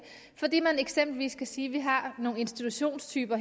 fordi man eksempelvis kan sige at man har nogle institutionstyper